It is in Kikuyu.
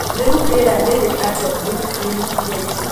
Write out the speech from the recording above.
Rĩu rĩera rĩrĩ atĩa Brooklyn thaa ici